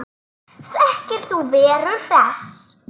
Þekkir þú Veru Hress?